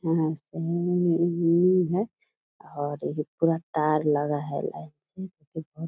और पूरा तार लगा है लाइन से जो की --